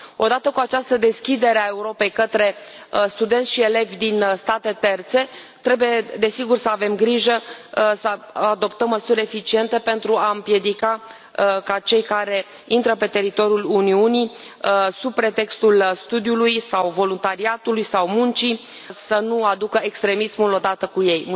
Odată cu această deschidere a Europei către studenți și elevi din state terțe trebuie, desigur, să avem grijă să adoptăm măsuri eficiente pentru a împiedica ca cei care intră pe teritoriul Uniunii, sub pretextul studiului sau voluntariatului sau muncii, să nu aducă extremismul odată cu ei.